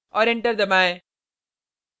और enter दबाएँ